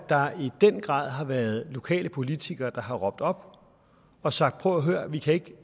der i den grad har været lokale politikere der har råbt op og sagt prøv at høre her vi kan ikke